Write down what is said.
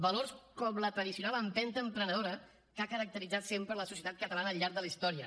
valors com la tradicional empenta emprenedora que ha caracteritzat sempre la societat catalana al llarg de la història